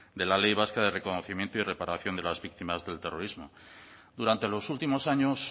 de la ley vasca de reconocimiento y reparación de las víctimas del terrorismo durante los últimos años